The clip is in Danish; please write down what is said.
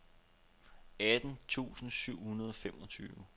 atten tusind syv hundrede og femogtyve